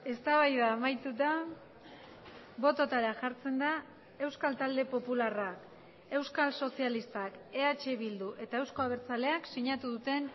eztabaida amaituta bototara jartzen da euskal talde popularra euskal sozialistak eh bildu eta euzko abertzaleak sinatu duten